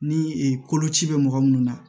Ni koloci bɛ mɔgɔ minnu na